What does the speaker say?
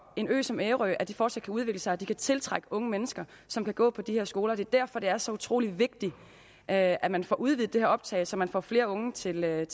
en ø som ærø at de fortsat kan udvikle sig og at de kan tiltrække unge mennesker som kan gå på de her skoler og det er derfor det er så utrolig vigtigt at at man får udvidet det her optag så man får flere unge til øen